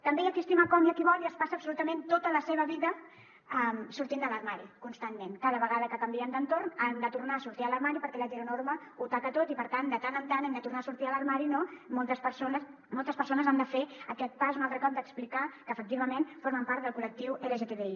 també hi ha qui estima com i qui vol i es passa absolutament tota la seva vida sortint de l’armari constantment cada vegada que canvien d’entorn han de tornar a sortir de l’armari perquè l’heteronorma ho taca tot i per tant de tant en tant han de tornar a sortir de l’armari no moltes persones han de fer aquest pas un altre cop d’explicar que efectivament formen part del col·lectiu lgtbi